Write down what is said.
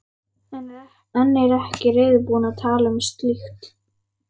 En er ekki reiðubúin að tala um slíkt.